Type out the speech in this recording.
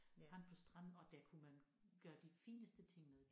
Fandt på stranden og det kunne man gøre de fineste ting med